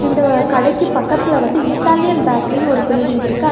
இந்த கடைக்கு பக்கத்துல வந்து இத்தாலியன் பேக்கரின்னு ஒரு பில்டிங் இருக்கு அது.